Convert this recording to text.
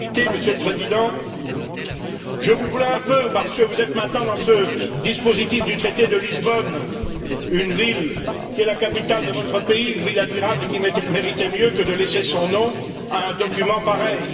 En réalité, Monsieur le Président, je vous plains un peu parce que vous êtes maintenant dans ce dispositif du traité de Lisbonne, une ville qui est la capitale de votre pays, une ville admirable et qui méritait mieux que de laisser son nom à un document pareil.